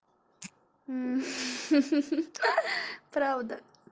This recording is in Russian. ха ха правда